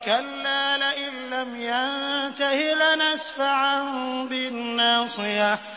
كَلَّا لَئِن لَّمْ يَنتَهِ لَنَسْفَعًا بِالنَّاصِيَةِ